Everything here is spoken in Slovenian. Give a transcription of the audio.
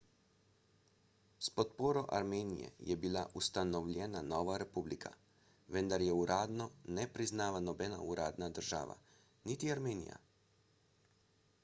s podporo armenije je bila ustanovljena nova republika vendar je uradno ne priznava nobena uradna država – niti armenija